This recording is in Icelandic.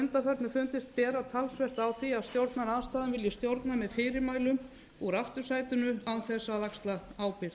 undanförnu fundist bera talsvert á því að stjórnarandstaðan vilji stjórna með fyrirmælum úr aftursætinu án þess að axla ábyrgð